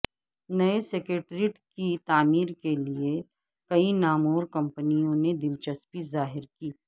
نئے سکریٹریٹ کی تعمیر کیلئے کئی نامور کمپنیوں نے دلچسپی ظاہر کی